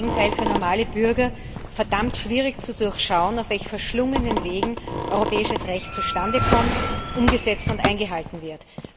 Es ist im Gegenteil für normale Bürger verdammt schwer zu durchschauen, auf welchen verschlungenen Wegen europäisches Recht zustande kommt, umgesetzt und eingehalten wird.